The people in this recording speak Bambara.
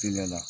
Teliya la